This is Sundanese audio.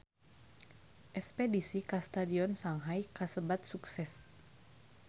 Espedisi ka Stadion Shanghai kasebat sukses